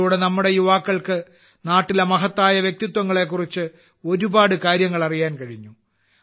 ഇതിലൂടെ നമ്മുടെ യുവാക്കൾക്ക് നാട്ടിലെ മഹത്തായ വ്യക്തിത്വങ്ങളെക്കുറിച്ച് ധാരാളം കാര്യങ്ങൾ അറിയാൻ കഴിഞ്ഞു